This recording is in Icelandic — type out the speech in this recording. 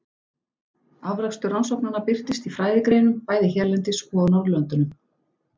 Afrakstur rannsóknanna birtist í fræðigreinum bæði hérlendis og á Norðurlöndunum.